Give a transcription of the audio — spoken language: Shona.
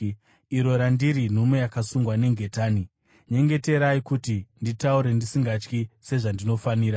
iro randiri nhume yakasungwa nengetani. Nyengeterai kuti ndiritaure ndisingatyi, sezvandinofanira.